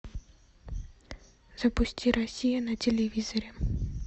запусти россия на телевизоре